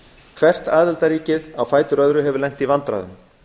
hvert aðildarríkið á fætur öðru hefur lent í vandræðum